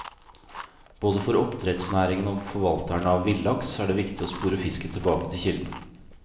Både for oppdrettsnæringen og forvalterne av villaks er det viktig å spore fisken tilbake til kilden.